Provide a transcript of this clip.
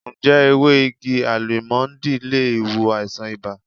Ǹjẹ́ ewé igi Álímọ́ńdì le wo àìsàn ibà?